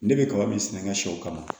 Ne bɛ kaba min sɛnɛ n ka sɛw kama